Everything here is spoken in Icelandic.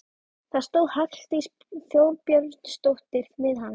Það stóð Halldís Þorbjörnsdóttir við hana.